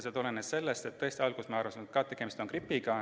See tulenes sellest, et me tõesti alguses arvasime, et tegemist on gripiga.